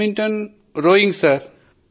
badminton మరియు rowing sir